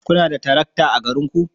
Kuna da tarakta a garinku?